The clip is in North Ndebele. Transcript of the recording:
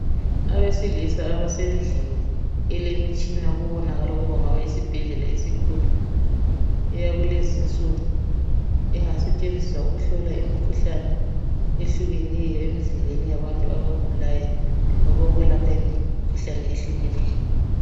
Abesilisa abasendlini, elemitshina okubonakala ukuba kungaba yisibhedlela esikhulu. Eyakukulezi insuku, engasetshenziswa ukuhlola imikhuhlane ehlukeneyo emzimbeni yabantu abagulayo labakolwepha imkhuhlane ehlukeneyo.